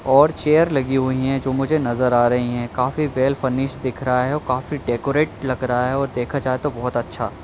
और चेयर लगी हुई हैंजो मुझे नजर आ रही हैं काफी वेल फर्निश दिख रहा हैऔर काफी डेकोरेट लग रहा है और देखा जाए तो बहुत अच्छा--